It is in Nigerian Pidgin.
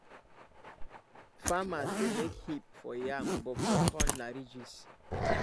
farmers dey make hip for yam but for corn na ridges